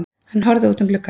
Hann horfði út um gluggann.